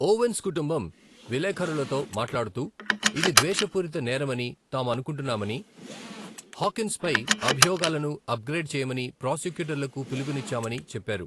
Ovens కుటుంబం విలేఖరులతో మాట్లాడుతూ ఇది ద్వేషపూరిత నేరమని తాము అనుకుంటున్నామని, హాకిన్స్పై అభియోగాలను అప్గ్రేడ్ చేయమని ప్రాసిక్యూటర్లకు పిలుపునిచ్చామని చెప్పారు.